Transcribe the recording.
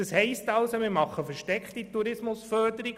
Das gäbe also eine versteckte Tourismusförderung.